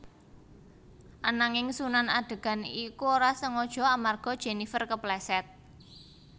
Ananging Sunan adegan iku ora sengaja amarga Jenifer kepleset